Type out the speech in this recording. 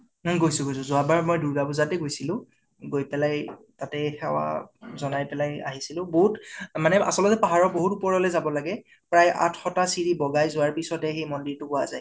অ গৈছো গৈছো । যোৱাবাৰ মৈ দুৰ্গা পুজাতে গৈছো । তাতে সেৱা জনাই পেলাই আহিচিলো । বহুত মানে আচলতে পাহাৰৰ বহুত ওপৰৰ লৈকে যাব লাগে । প্ৰায় আঠ্শ্টা সিৰি বগাই যোৱাৰ পিচত হে সেই মন্দিৰতো পোৱা যায়